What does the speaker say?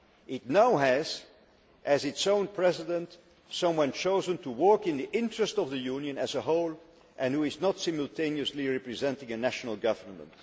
It now has in its own President someone chosen to work in the interests of the Union as a whole and who is not simultaneously representing a national government.